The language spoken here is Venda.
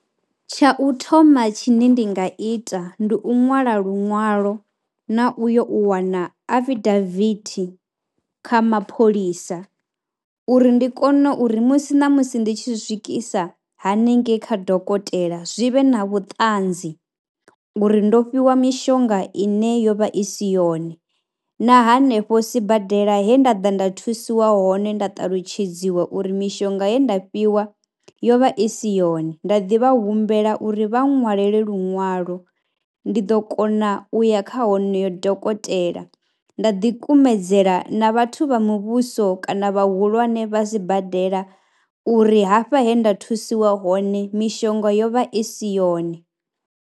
Tsha u thoma tshine ndi nga ita ndi u ṅwala luṅwalo na u yo u wana affidaviti kha mapholisa uri ndi kone uri musi na musi ndi tshi swikisa haningei kha dokotela zwi vhe na vhuṱanzi ngori ndo fhiwa mishonga ine yo vha i si yone na hanefho sibadela he nda ḓa nda thusiwa hone nda talutshedziwa uri mishonga ye nda fhiwa yo vha i si yone. Nda ḓi vha humbela uri vha ṅwalele luṅwalo, ndi ḓo kona u ya kha honoyo dokotela, nda ḓikumedzela na vhathu vha muvhuso kana vhahulwane vha sibadela uri hafha he nda thusiwa hone mishonga yo vha i si yone.